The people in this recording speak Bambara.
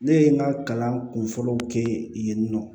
Ne ye n ka kalan kunfɔlɔw kɛ yen nɔ